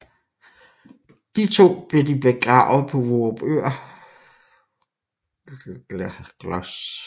De to blev de begravet på Vorupør Gl